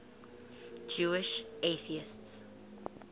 jewish atheists